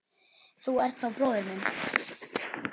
Þú ert þá bróðir minn.